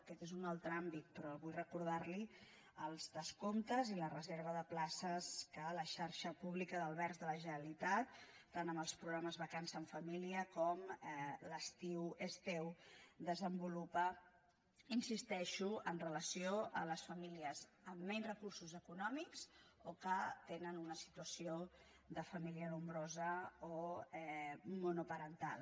aquest és un altre àmbit però vull recordar·li els descomptes i la reserva de places que la xarxa públi·ca d’albergs de la generalitat tant amb els programes vacances en família com l’estiu és teu desen·volupa hi insisteixo amb relació a les famílies amb menys recursos econòmics o que tenen una situació de família nombrosa o monoparental